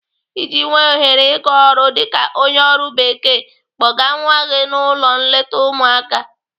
Iji nwee ohere ị gaa ọrụ dịka onye ọrụ bekee, kpọga nwa gị n'ụlọ nleta ụmụaka.